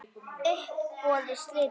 Uppboði slitið.